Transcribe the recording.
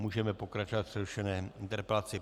Můžeme pokračovat v přerušené interpelaci.